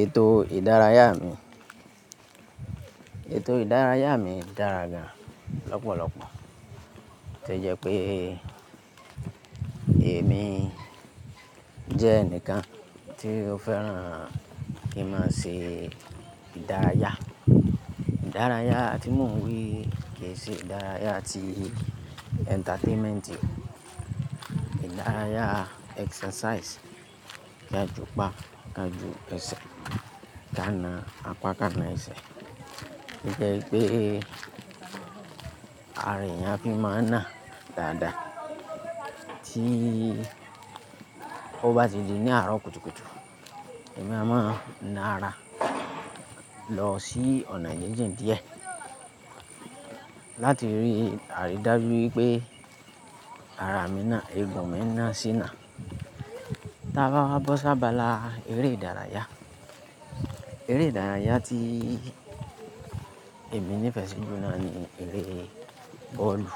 Ètò ìdárayá mi, ètò ìdárayá mi dára gan lọ́pọ̀lọpọ̀ tó jẹ́ pé èmi jẹ́ ẹnìkan tí ó fẹ́ràn kí n máa ṣe ìdárayá. Ìdárayá tí mò ń wí ke ṣe ìdárayá ti entertainment, ìdárayá exercise, kí a jùpá, kí a je e ẹsẹ̀, ka na apá kan na ẹsẹ̀. Ó jẹ́ pé ara èèyàn á fi máa na dáadáa tí ó bá ti di ní àárọ̀ kùtùkùtù. Ẹ̀mí á máa na ara lọ sí ọ̀nà gingin díẹ̀ láti rí àrídájú wípé ara mi na, eegun mi na sí na. Tà bá wá bọ́ sábà la eré ìdárayá. Eré ìdárayá tí èmi nífẹ̀ẹ́ si ju jùlọ noni eré bọ́ọ̀lù,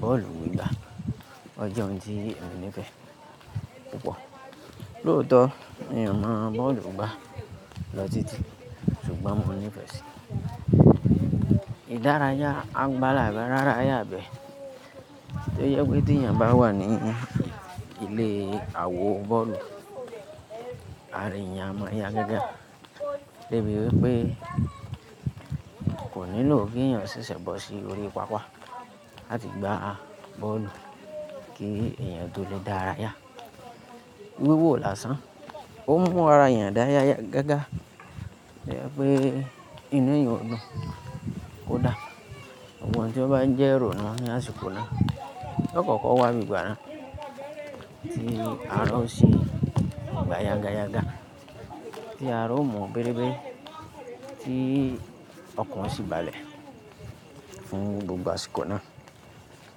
bọ́ọ̀lù gbaigba. O jẹ́ oun tí mo nífẹ̀ẹ́ púpọ̀. Lóòótọ́ n ò mọ bọ́ọ̀lù gbá lọ títí ṣùgbọ́n mo nífẹ̀ẹ́ sí i. Ìdárayá agbára rárá yá bẹ tó jẹ́ pé tí èèyàn bá wà ní ilé awo bọ́ọ̀lù ara èèyàn máa yá gágá. Débi wípé kò nílò kí ẹ̀yàn ṣẹ̀ṣẹ̀ bọ́ sí orí pápá láti gbá bọ́ọ̀lù kí ẹ̀yàn tó lè dárayá. Wíwò lásán ó n mú ara èèyàn dá gágá. Ó jẹ́ pé inú èèyàn ó dùn kódà gbogbo ohun tí ó bá ń jẹ́ ìrònú ní àsìkò náà yíó kọ́kọ́ wábi gbà náà tí ara ó sì gbá yágáyágá, tí ara ò mọ̀ bérébé, tí ọ̀kan ó sì balẹ̀ fún gbogbo àsìkò náà.